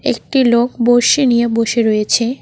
একটি লোক বড়শি নিয়ে বসে রয়েছে।